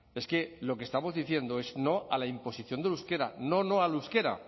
es que lo que estamos diciendo es no a la imposición del euskera no no al euskera